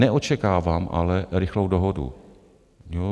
Neočekávám ale rychlou dohodu.